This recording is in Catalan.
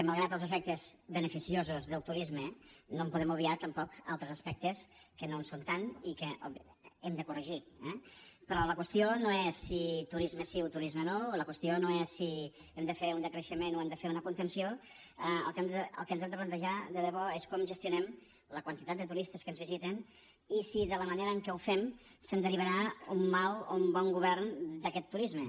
malgrat els efectes beneficiosos del turisme no en podem obviar tampoc altres aspectes que no ho són tant i que hem de corregir eh però la qüestió no és si turisme sí o turisme no o la qüestió no és si hem de fer un decreixement o hem de fer una contenció el que ens hem de plantejar de debò és com gestionem la quantitat de turistes que ens visiten i si de la manera en què ho fem se’n derivarà un mal o un bon govern d’aquest turisme